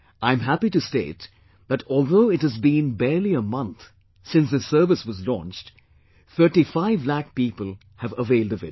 I am happy to state that although it has been barely a month since this service was launched, 35 lakh people have availed of it